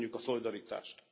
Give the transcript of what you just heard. Köszönjük a szolidaritást!